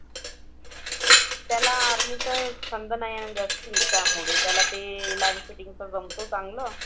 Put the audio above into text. त्याला army चं छंद नाही आहे ना जास्ती त्यामुळे. त्याला ते light fitting चं जमतं चांगलं.